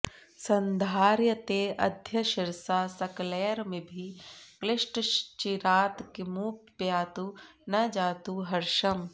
सन्धार्यतेऽद्य शिरसा सकलैरमीभिः क्लिष्टश्चिरात् किमुपयातु न जातु हर्षम्